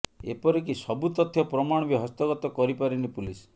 ଏପରିକି ସବୁ ତଥ୍ୟ ପ୍ରମାଣ ବି ହସ୍ତଗତ କରିପାରିନି ପୁଲିସ